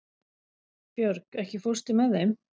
Björg, ekki fórstu með þeim?